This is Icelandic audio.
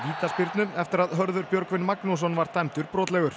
vítaspyrnu eftir að Hörður Björgvin Magnússon var dæmdur brotlegur